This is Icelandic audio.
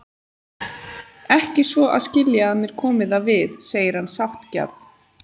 Ekki svo að skilja að mér komi það við, segir hann sáttgjarn.